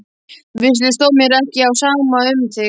Vissulega stóð mér ekki á sama um þig.